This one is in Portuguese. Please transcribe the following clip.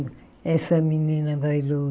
Essa menina bailou.